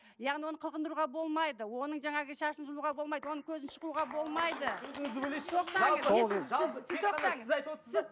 яғни оны қылқындыруға болмайды оның жаңағы шашын жұлуға болмайды оның көзін шұқуға болмайды